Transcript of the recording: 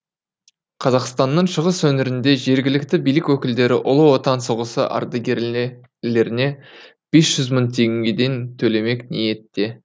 қазақстанның шығыс өңірінде жергілікті билік өкілдері ұлы отан соғысы ардагерлеріне бес жүз мың тегеден төлемек ниетте